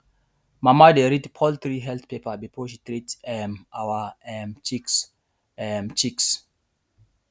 mama dey read poultry health paper before she treat um our um chicks um um chicks um